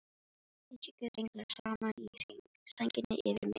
Sitji guðs englar saman í hring, sænginni yfir minni.